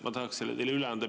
Ma tahaksin selle teile üle anda.